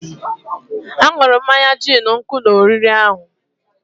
ha ṅụrụ mmanya gin nkụ na oriri ahụ